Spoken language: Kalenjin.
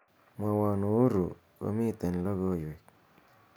mwowon uhuru komiten logoiwek